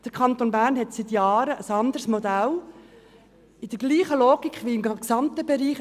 Der Kanton Bern hat seit Jahren ein anderes Modell, welches derselben Logik folgt wie der gesamte Bereich: